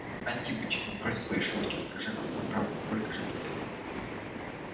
антипыч ну брось свои шутки скажи нам по правде сколько же тебе лет